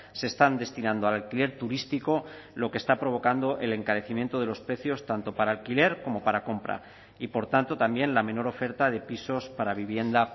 se están destinando al alquiler turístico lo que está provocando el encarecimiento de los precios tanto para alquiler como para compra y por tanto también la menor oferta de pisos para vivienda